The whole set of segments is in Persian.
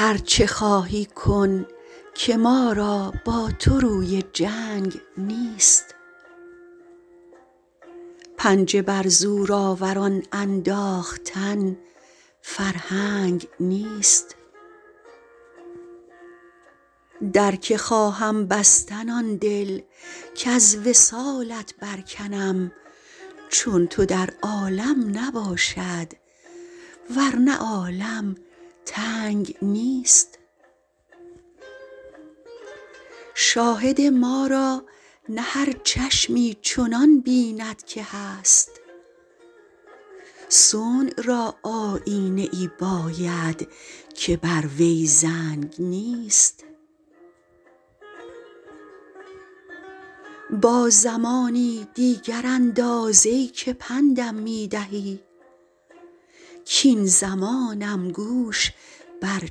هر چه خواهی کن که ما را با تو روی جنگ نیست پنجه بر زورآوران انداختن فرهنگ نیست در که خواهم بستن آن دل کز وصالت برکنم چون تو در عالم نباشد ور نه عالم تنگ نیست شاهد ما را نه هر چشمی چنان بیند که هست صنع را آیینه ای باید که بر وی زنگ نیست با زمانی دیگر انداز ای که پند م می دهی کاین زمانم گوش بر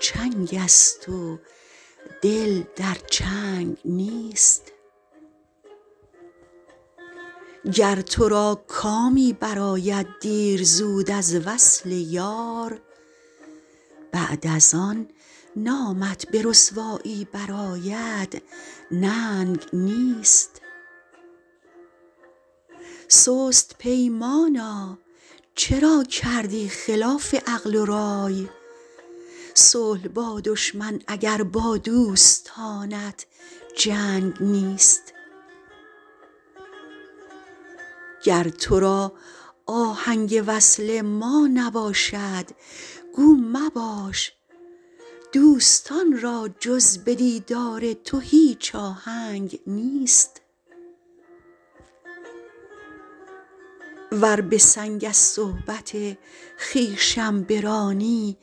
چنگ است و دل در چنگ نیست گر تو را کامی برآید دیر زود از وصل یار بعد از آن نامت به رسوایی برآید ننگ نیست سست پیمانا چرا کردی خلاف عقل و رای صلح با دشمن اگر با دوستانت جنگ نیست گر تو را آهنگ وصل ما نباشد گو مباش دوستان را جز به دیدار تو هیچ آهنگ نیست ور به سنگ از صحبت خویشم برانی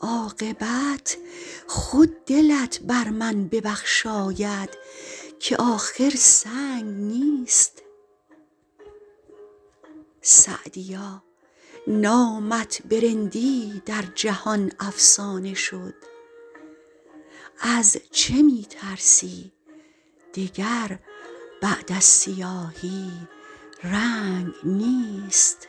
عاقبت خود دلت بر من ببخشاید که آخر سنگ نیست سعدیا نامت به رندی در جهان افسانه شد از چه می ترسی دگر بعد از سیاهی رنگ نیست